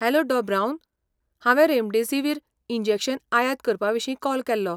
Hello डॉ. Brown. हांवें remdesivir injection आयात करपाविशीं कॉल केल्लो.